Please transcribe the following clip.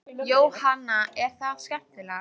Jóhanna: Er það skemmtilegast?